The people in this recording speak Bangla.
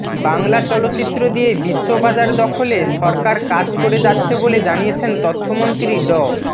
বাংলা চলচ্চিত্র দিয়ে বিশ্ববাজার দখলে সরকার কাজ করে যাচ্ছে বলে জানিয়েছেন তথ্যমন্ত্রী ড